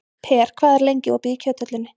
Per, hvað er lengi opið í Kjöthöllinni?